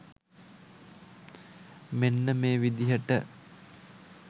මෙන්න මේ විදිහට.